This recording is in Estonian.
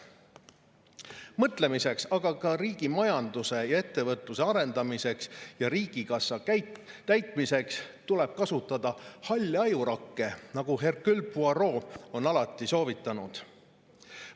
Mõtlemiseks, aga ka riigi majanduse ja ettevõtluse arendamiseks ja riigikassa täitmiseks tuleb kasutada halle ajurakke, nagu Hercule Poirot on alati soovitanud.